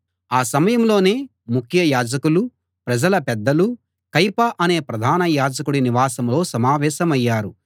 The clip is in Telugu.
ఆ సమయంలోనే ముఖ్య యాజకులు ప్రజల పెద్దలు కయప అనే ప్రధాన యాజకుడి నివాసంలో సమావేశమయ్యారు